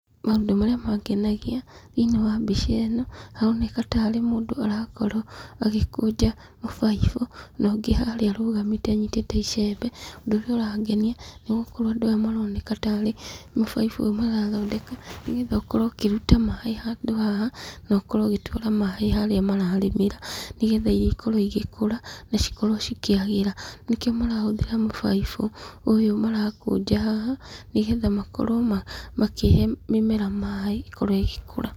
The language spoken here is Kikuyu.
Maũndũ marĩa mangenagia thĩiniĩ wa mbica ĩno, haroneka tarĩ mũndũ arakorwo agĩkũnja mũbaibũ, na ũngĩ haria arũgamĩte anyitĩte icembe. Ũndũ ũrĩa ũrangenia nĩ gũkorwo andũ aya maroneka tarĩ mũbaibũ ũyũ marathondeka, nĩ getha ũkorwo kũruta maaĩ handũ haha, na ũkorwo ũgĩtwara maaĩ handũ haria mararĩmĩra. Nĩ getha irio ikorwo igĩkũra, na cikorwo cikĩagĩra. Nĩko marahũthĩra mũbaibũ ũyũ marakũnja haha, nĩgetha makorwo makĩhe mĩmera maaĩ ĩkorwo ĩhĩkũra.